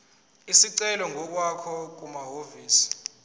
isicelo ngokwakho kumahhovisi